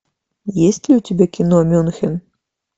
есть ли у тебя кино мюнхен